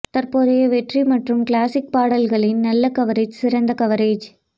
தற்போதைய வெற்றி மற்றும் கிளாசிக் பாடல்களின் நல்ல கவரேஜ் சிறந்த கவரேஜ்